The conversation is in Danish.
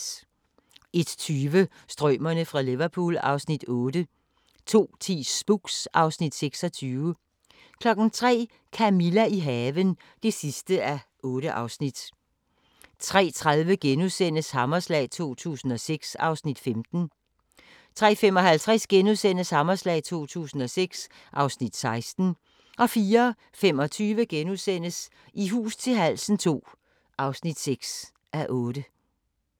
01:20: Strømerne fra Liverpool (Afs. 8) 02:10: Spooks (Afs. 26) 03:00: Camilla – i haven (8:8) 03:30: Hammerslag 2006 (Afs. 15)* 03:55: Hammerslag 2006 (Afs. 16)* 04:25: I hus til halsen II (6:8)*